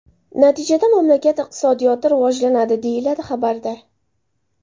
Natijada mamlakat iqtisodiyoti rivojlanadi”, deyiladi xabarda.